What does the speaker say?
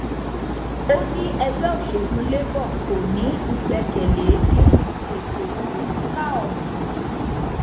ó ní ẹgbẹ òsèlú labour kò ní ìgbẹkẹlé nínú ètò ìbò kíkà ọhún